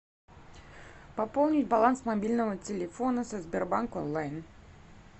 пополнить баланс мобильного телефона со сбербанк онлайн